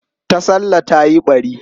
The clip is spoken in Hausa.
Tasallah ta yi ɓari.